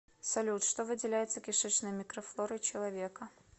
салют что выделяется кишечной микрофлорой человека